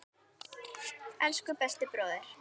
Elsku besti bróðir.